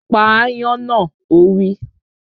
Pa ááyán náà! Ó wí